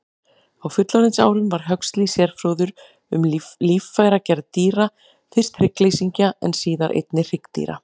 Á fullorðinsárum varð Huxley sérfróður um líffæragerð dýra, fyrst hryggleysingja en síðar einnig hryggdýra.